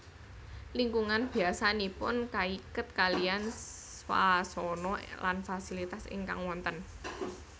Lingkungan biasanipun kaiket kaliyan swasana lan fasilitas ingkang wonten